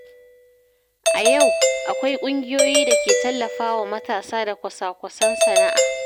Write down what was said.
A yau, akwai ƙungiyoyi da ke tallafa wa matasa da kwasa-kwasan sana’a.